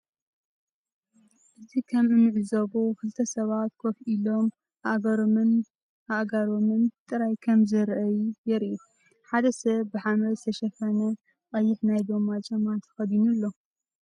እዚ ከም እንዕዞቦ ክልተ ሰባት ኮፍ ኢሎም ኣእጋሮምን ኣእጋሮምን ጥራይ ከም ዘርእይ የርኢ። ሓደ ሰብ ብሓመድ ዝተሸፈነ ቐይሕ ናይ ጎማ ጫማ ተኸዲኑ ኣሎ።